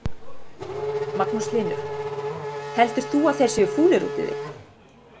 Magnús Hlynur: Heldur þú að þeir séu fúlir út í þig?